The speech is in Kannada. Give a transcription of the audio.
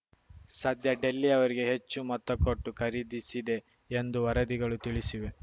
ಸದ್ಯ ಡೆಲ್ಲಿ ಅವರಿಗೆ ಹೆಚ್ಚು ಮೊತ್ತ ಕೊಟ್ಟು ಖರೀದಿಸಿದೆ ಎಂದು ವರದಿಗಳು ತಿಳಿಸಿವೆ